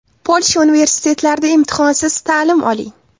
Polsha universitetlarida imtihonsiz ta’lim oling!.